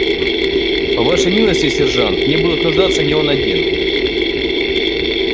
по вашей милости сержант в ней будет нуждаться не он один